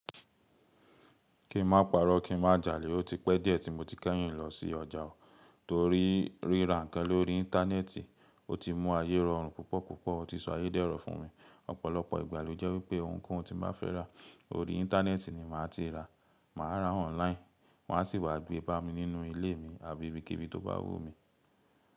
Kí n má parọ́, kí n má jalè. Ó ti pẹ́ díẹ̀ tí mo ti kẹ́yìn lọ sí ọjà o, torí ríra ǹkan lórí íńtánẹ́ẹ̀tì, ó ti mú ayé rọrùn púpọ̀ púpọ̀. Ó ti sọ ayé dẹ́rọ̀ fún mi. Ọ̀pọ̀lọpọ̀ ìgbà ló jẹ́ wípé ohunkóhun tí m bá fẹ́ rà, orí íńtánẹ́ẹ̀tì ni màá ti rà. Màá ra online, wọ́n á sì wá gbé bá mi nínú ilé mi àbí ibikíbi tó bá wù mí.